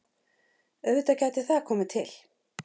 Auðvitað gæti það komið til.